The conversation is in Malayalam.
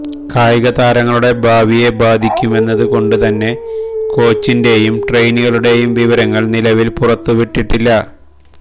കായിക താരങ്ങളുടെ ഭാവിയെ ബാധിക്കുമെന്നത് കൊണ്ട് തന്നെ കോച്ചിന്റേയും ട്രെയിനികളുടേയും വിവരങ്ങള് നിലവില് പുറത്തുവിട്ടിട്ടില്ല